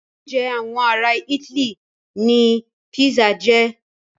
Oúnjẹ àwọn ará itály ní pizza jẹ́.